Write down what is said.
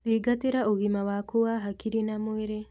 Thingatĩra ũgima waku wa hakiri na mwĩrĩ